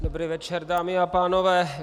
Dobrý večer, dámy a pánové.